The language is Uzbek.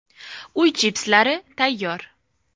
Uy chipslari tayyor.